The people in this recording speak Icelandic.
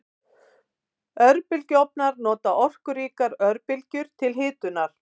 Örbylgjuofnar nota orkuríkar örbylgjur til hitunar.